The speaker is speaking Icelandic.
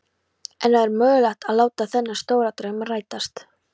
En var mögulegt að láta þennan stóra draum rætast?